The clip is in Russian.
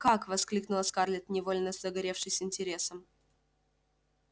как воскликнула скарлетт невольно загоревшись интересом